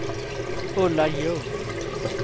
Ulla Ljung